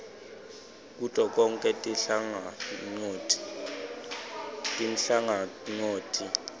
kuto tonkhe tinhlangotsi